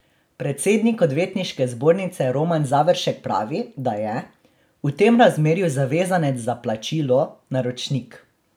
Predsednik Odvetniške zbornice Roman Završek pravi, da je: "v tem razmerju zavezanec za plačilo naročnik".